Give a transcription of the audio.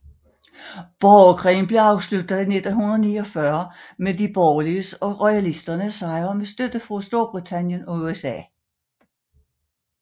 Borgerkrigen blev afsluttet i 1949 med de borgerliges og royalisternes sejr med støtte fra Storbritannien og USA